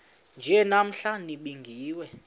nje namhla nibingiwe